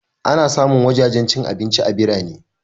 Ana samun wajajen cin abinci a birane